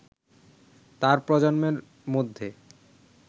তার প্রজন্মের মধ্যে